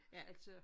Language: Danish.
Altså